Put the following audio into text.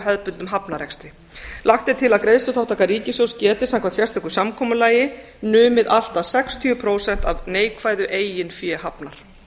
hefðbundnum hafnarrekstri lagt er til að greiðsluþátttaka ríkissjóðs geti samkvæmt sérstöku samkomulagi numið allt að sextíu prósent neikvæðu eigin fé hafnar